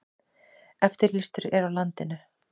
Eftirlýstur er á landinu